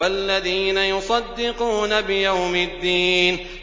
وَالَّذِينَ يُصَدِّقُونَ بِيَوْمِ الدِّينِ